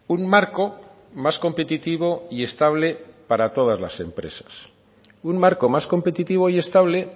un marco más competitivo y estable para todas las empresas un marco más competitivo y estable